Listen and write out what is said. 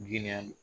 Giriya